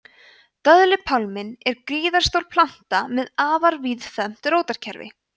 döðlupálminn er gríðarstór planta með afar víðfeðmt rótarkerfi